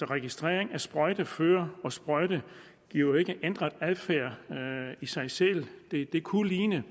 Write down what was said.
registrering af sprøjtefører og sprøjte giver ikke en ændret adfærd i sig selv det det kunne ligne